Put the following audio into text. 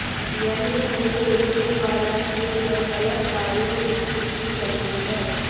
यही नहीं उनके द्वारा किए गए गलत कार्यों की सूची लम्बी है